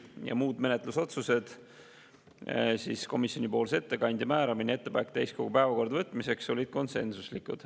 Ja muud menetlusotsused, komisjonipoolse ettekandja määramine ja ettepanek täiskogu päevakorda võtmiseks, olid konsensuslikud.